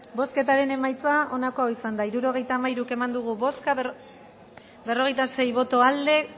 bozketaren emaitza onako izan da hirurogeita hamairu eman dugu bozka berrogeita sei boto aldekoa